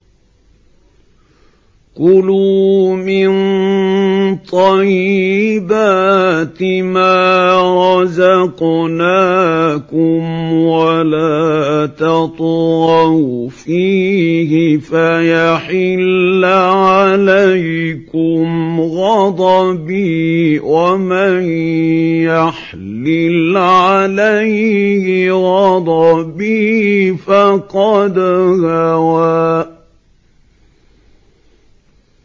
كُلُوا مِن طَيِّبَاتِ مَا رَزَقْنَاكُمْ وَلَا تَطْغَوْا فِيهِ فَيَحِلَّ عَلَيْكُمْ غَضَبِي ۖ وَمَن يَحْلِلْ عَلَيْهِ غَضَبِي فَقَدْ هَوَىٰ